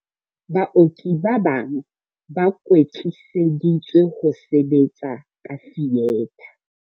Baoki ba bang ba kwetliseditswe ho sebetsa ka fietha.